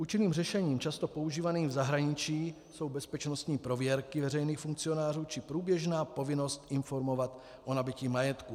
Účinným řešením často používaným v zahraničí jsou bezpečnostní prověrky veřejných funkcionářů či průběžná povinnost informovat o nabytí majetku.